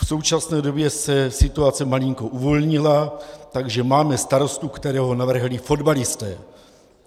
V současné době se situace malinko uvolnila, takže máme starostu, kterého navrhli fotbalisté.